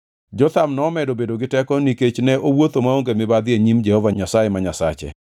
Jotham nomedo bedo gi teko nikech ne owuotho maonge mibadhi e nyim Jehova Nyasaye ma Nyasache.